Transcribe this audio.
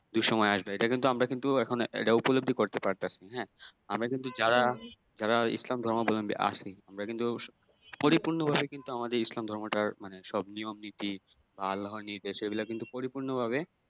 দুঃসময় আসবে এটা কিন্তু আমরা কিন্তু এখন এটা উপলব্ধি করতে পারবে হ্যাঁ আমরা কিন্তু যারা যারা ইসলাম ধর্মের মধ্য দিয়ে আসি আমরা কিন্তু পরিপূর্ণ ভাবে কিন্তু আমাদের ইসলাম ধর্মটার মানে সব নিয়ম নিতি আল্লাহ নির্দেশে এগুলা কিন্তু পরিপূর্ণ ভাবে